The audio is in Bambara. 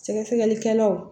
Sɛgɛsɛgɛlikɛlaw